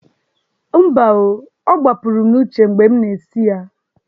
Mba o, ọ gbapụrụ m n'uche mgbe m na-esi ya.